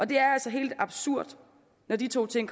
det er altså helt absurd når de to ting